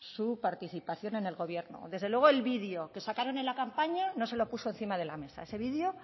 su participación en el gobierno desde luego el video que sacaron en la campaña no se lo puso encima de la mesa ese video